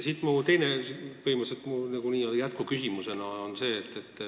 Siit mu teine, põhimõtteliselt n-ö jätkuküsimus.